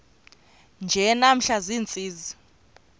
nje namhla ziintsizi